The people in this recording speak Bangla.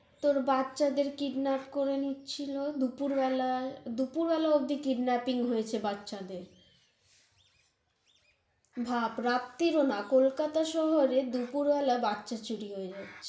তর বাচ্চাদের kidnap করে নিচ্ছিল দুপুর বেলায়, দুপুর বেলা অব্দি kidnapping হয়েছে বাচ্চদের ভাব রাত্তির ও না, কলকাতা শহরে দুপুরবেলা বাচ্চা cheating হয়ে যাচ্ছে